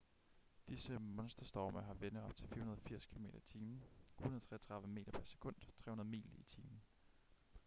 disse monsterstorme har vinde op til 480 km/t 133 m/s; 300 mil i timen